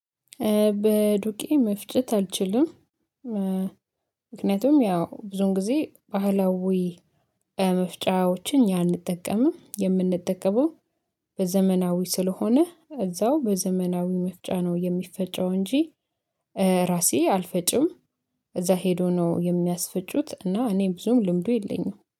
በዱቄ መፍጨት አልችልም። ምክንያቱም ያው ብዙን ጊዜ ባህላዊ መፍጫዎችን እኛ አንጠቀምም። የምንጠቀመው በዘመናዊ ስለሆነ እዛው በዘመናዊ መፍጫ ነው የሚፈጨው እንጂ። ራሴ አልፈጭም። እዛ ሄዶ ነው የሚያስፈጩት እና እኔ ብዙም ልምዱ የለኝም